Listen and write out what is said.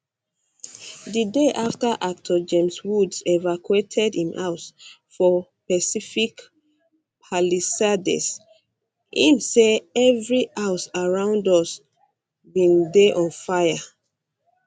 the day after actor james woods evacuated im house for pacific palisades im say every um house around us bin dey on fire